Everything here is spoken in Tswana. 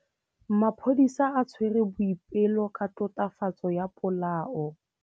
Maphodisa a tshwere Boipelo ka tatofatsô ya polaô.